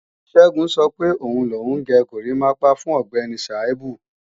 Ṣẹ́gun sọ pé òun lòun gé górimápá fún Ọ̀gbẹ́ni Sàíbù